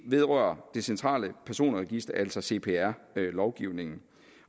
vedrører det centrale personregister altså cpr lovgivningen